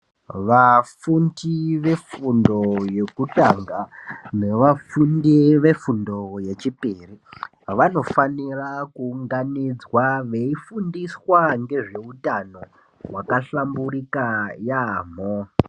Vafundi vefundo yekutanga nevafundi vefundo yechipiri vanofanira kuunganidzwa veifundiswa ngezveutano hwakahlamburika yaampho.